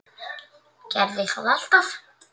Gerði það alltaf.